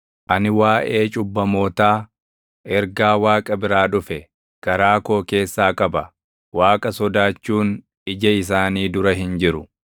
Ani waaʼee cubbamootaa, ergaa Waaqa bira dhufe garaa koo keessaa qaba: Waaqa sodaachuun ija isaanii dura hin jiru.